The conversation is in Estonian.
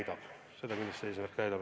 Ja seda eesmärki tuulepark täidab.